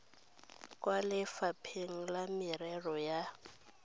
kwa lefapha la merero ya